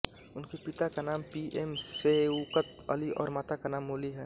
उनके पिता का नाम पी एम शैउकत अली और माता का नाम मोली है